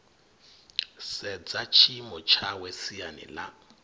sedza tshiimo tshawe siani ḽa